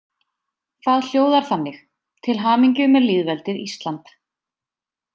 Það hljóðar þannig: Til hamingju með lýðveldið Ísland.